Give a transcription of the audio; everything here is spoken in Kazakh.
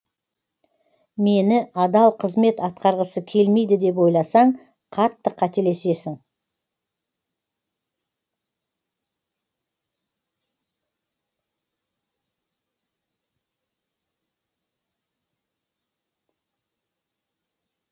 мені адал қызмет атқарғысы келмейді деп ойласаң қатты қателесесің